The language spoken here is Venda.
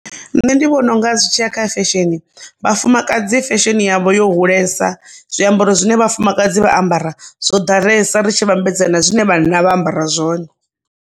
Nṋe ndi vhona unga zwi tshi ya kha fesheni vhafumakadzi fesheni yavho yo hulesa zwiambaro zwine vhafumakadzi vha ambara zwo ḓalesa ri tshi vhambedza na zwine vhanna vha ambara zwone.